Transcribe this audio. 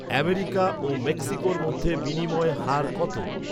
America ও মেক্সিকোর মধ্যে বিনিময় হার কত